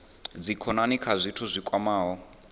dzikhonani kha zwithu zwi kwamaho